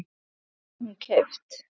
Hvar var hún keypt?